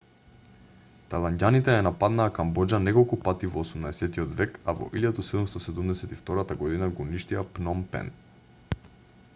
тајланѓаните ја нападнаа камбоџа неколку пати во 18-от век а во 1772 г го уништија пном пен